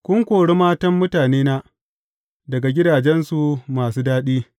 Kun kori matan mutanena daga gidajensu masu daɗi.